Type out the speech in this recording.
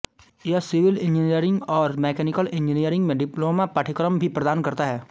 यह civil engineering और mechanical engineering में डिप्लोमा पाठ्यक्रम भी प्रदान करता है